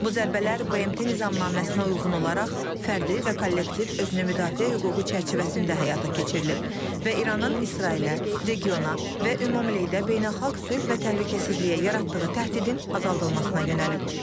Bu zərbələr BMT Nizamnaməsinə uyğun olaraq fərdi və kollektiv özünü müdafiə hüququ çərçivəsində həyata keçirilib və İranın İsrailə, regiona və ümumilikdə beynəlxalq sülh və təhlükəsizliyə yaratdığı təhdidin azaldılmasına yönəlib.